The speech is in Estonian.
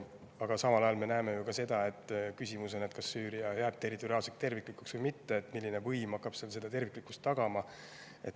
Aga samal ajal me näeme ju ka seda, et on küsimus, kas Süüria jääb territoriaalselt terviklikuks või mitte ja milline võim hakkab seda terviklikkust tagama.